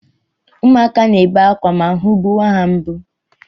Ụmụakwa na-ebe akwa ma ahụ gbuwa ha mgbu